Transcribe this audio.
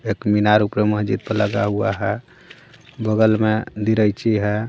एक मीनार ऊपर मस्जिद पर लगा हुआ है बगल में लीरैची है।